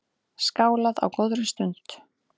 Skálað á góðri stund.